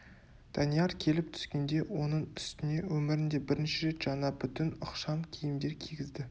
данияр келіп түскенде оның үстіне өмірінде бірінші рет жаңа бүтін ықшам киімдер кигізді